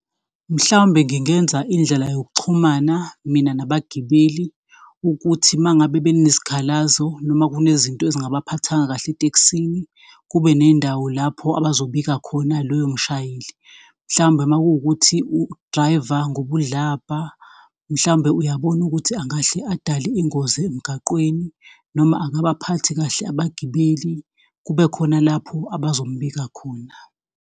Mhlawumbe ngingenza indlela yokuxhumana, mina nabagibeli ukuthi uma ngabe bekunesikhalazo noma kunezinto ezingabaphathanga kahle etekisini, kube nendawo lapho abazobika khona loyo mshayeli. Mhlawumbe uma kuwukuthi u-Driver ngobudlabha, mhlawumbe uyabona ukuthi angahle adale ingozi emgaqweni, noma akabaphathi kahle abagibeli, kubekhona lapho abazombika khona.